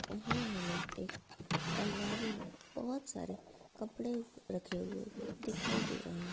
और ये हमे एक अलमारी मे बहोत सारे कपड़े रखे हुए दिखाई दे रहे हे।